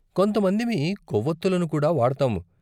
కొంత మందిమి కొవ్వొత్తులను కూడా వాడతాము.